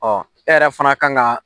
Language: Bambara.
e yɛrɛ fana kan ka